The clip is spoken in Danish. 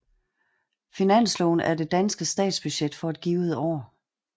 Finansloven er det danske statsbudget for et givet år